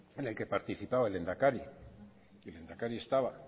en el que participaba el lehendakari y el lehendakari estaba